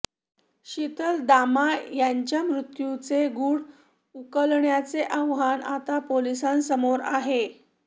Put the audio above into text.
शीतल दामा यांच्या मृत्यूचे गूढ उकलण्याचे आव्हान आता पोलिसांसमोर आहे